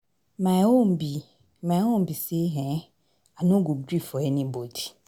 My own be My own be say um I no go gree for anybody.